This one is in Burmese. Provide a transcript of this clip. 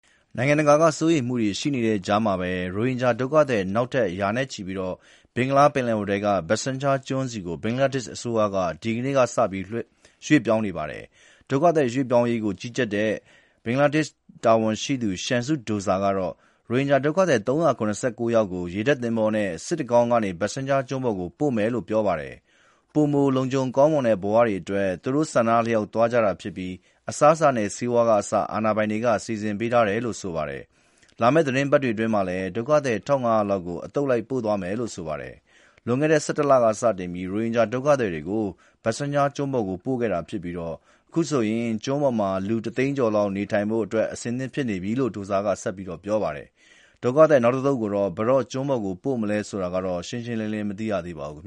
နိုင်ငံတကာက စိုးရိမ်မှုတွေရှိနေတဲ့ကြားမှာပဲ ရိုဟင်ဂျာဒုက္ခသည် နောက်ထပ် ရာနဲ့ချီပြီး ဘင်္ဂလားပင်လယ်အော်ထဲက Bhashan Char ကျွန်းဆီ ဘင်္ဂလားဒေ့ရှ်အစိုးရက ဒီကနေ့ စပြီး ရွှေ့ပြောင်းနေပါတယ်။ ဒုက္ခသည်ပြောင်းရွှေ့ရေးကို ကြီးကြပ်တဲ့ ဘင်္ဂလားဒေ့ရှ်တာဝန်ရှိသူ Shamsud Douza က ရိုဟင်ဂျာဒုက္ခသည် ၃၇၉ ယောက်ကို ရေတပ်သင်္ဘောနဲ့ စစ်တကောင်းကနေ Bhasan Char ကျွန်းပေါ် ပို့မယ်လို့ပြောပါတယ်။ ပိုမိုလုံခြုံကောင်းမွန်တဲ့ ဘဝတွေအတွက် သူတို့ဆန္ဒအလျောက် သွားကြတာဖြစ်ပြီး အစားအစာနဲ့ ဆေးဝါးကအစ အာဏာပိုင်တွေက စီစဉ်ပေးထားတယ်လို့ဆိုပါတယ်။ လာမယ့်သီတင်းပတ်တွေအတွင်းမှာလည်း ဒုက္ခသည် ၁,၅၀၀ လောက် အသုတ်လိုက် ပို့သွားမယ်လို ဆိုပါတယ်။ လွန်ခဲ့တဲ့ ၁၁ လက စတင်ပြီး ရိုဟင်ဂျာဒုက္ခသည်တွေကို Bhasan Char ကျွန်းပေါ် ပို့ခဲ့တာဖြစ်ပြီး အခုဆိုရင် ကျွန်းပေါ်မှာ လူ တသိန်းကျော်လောက် နေထိုင်ဖို့ အဆင်သင့်ဖြစ်နေပြီလို့ Douza က ပြောပါတယ်။ ဒုက္ခသည် နောက်အသုတ်ကို ဘယ်တော့ ကျွန်းပေါ်ပို့မယ်ဆိုတာကတော့ ရှင်းရှင်းလင်းလင်း မသိရသေးပါဘူး